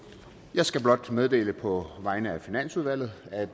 jeg skal blot meddele på vegne af finansudvalget at